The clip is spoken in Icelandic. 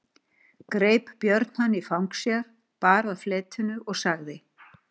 Greip Björn hann í fang sér, bar að fletinu og sagði